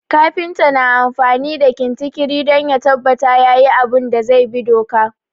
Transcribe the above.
Kafinta na amfani da kintikiri don ya tabbata yayi abun da zai bi doka